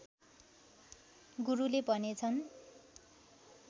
गुरुले भनेछन्